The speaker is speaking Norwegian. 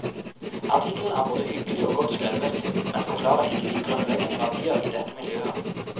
Artikkelen er både hyggelig og godt skrevet, men forklarer ikke de grunnleggende verdier i dette miljøet.